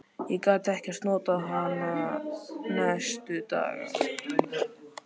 Ég gat ekkert notað hann næstu daga.